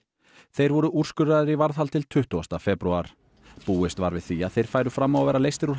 þeir voru úrskurðaðir í varðhald til tuttugasta febrúar búist var við því að þeir færu fram á að vera leystir úr